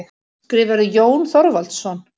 Skrifarðu, Jón Þorvaldsson?